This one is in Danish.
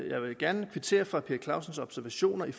jeg vil gerne kvittere for herre per clausens observationer i